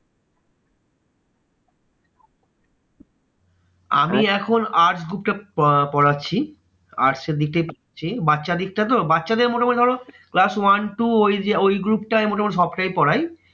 আমি এখন arts group টা প~ পড়াচ্ছি। arts এর দিকে বাচ্চার দিকটা তো বাচ্চাদের মোটামুটি ধরো class one two ওইযে ওই group টায় মোটামুটি সবটাই পড়াই।